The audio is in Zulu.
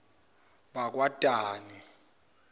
bakwadani